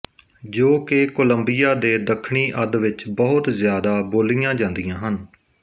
ਜੋ ਕਿ ਕੋਲੰਬੀਆ ਦੇ ਦੱਖਣੀ ਅੱਧ ਵਿਚ ਬਹੁਤ ਜ਼ਿਆਦਾ ਬੋਲੀਆਂ ਜਾਂਦੀਆਂ ਹਨ